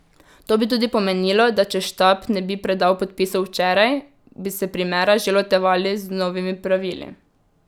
To bi tudi pomenilo, da če štab ne bi predal podpisov včeraj, bi se primera že lotevali z novimi pravili.